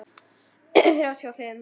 Þrjá tuttugu og fimm